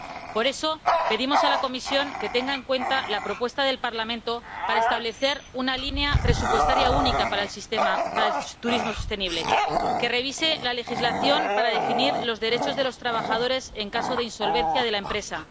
Por eso, pedimos a la Comisión que tenga en cuenta la propuesta del Parlamento para establecer una línea presupuestaria única para el turismo sostenible, que revise la legislación para definir los derechos de los trabajadores en caso de insolvencia de la empresa.